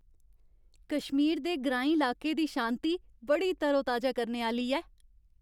कश्मीर दे ग्राईं लाके दी शांति बड़ी तरोताजा करने आह्‌ली ऐ।